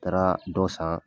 Taara dɔ san